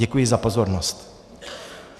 Děkuji za pozornost.